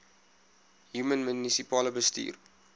human munisipale bestuurder